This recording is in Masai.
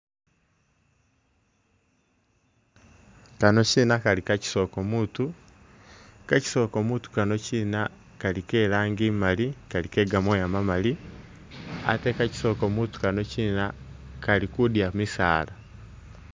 Kano kyina Kali ka kyisoko mutu ka kyisoko mutu kano kyina kali ke rangi imali Kali ke ga mooya mamali ate ka kyisoko mutu kano kyina kali kudya misaala.